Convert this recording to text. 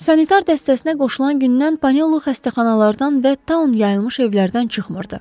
Sanitar dəstəsinə qoşulan gündən Panolu xəstəxanalardan və taun yayılmış evlərdən çıxmırdı.